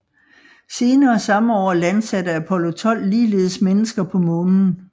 Senere samme år landsatte Apollo 12 ligeledes mennesker på Månen